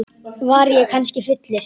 Var ég kannski fullur?